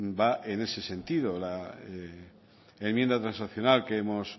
va en ese sentido la enmienda transaccional que hemos